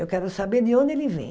Eu quero saber de onde ele vem.